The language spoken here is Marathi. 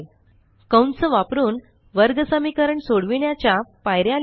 कंस वापरुन वर्गसमीकरण सोडविण्याच्या पायऱ्या लिहिणे